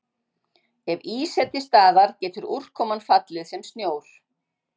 Ef ís er til staðar getur úrkoman fallið sem snjór.